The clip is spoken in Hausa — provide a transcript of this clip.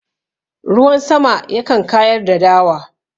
Ruwan sama yakan kayar da dawa..